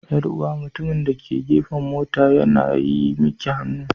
Yar'uwa mutumin da ke gefen mota yana yi miki hannu.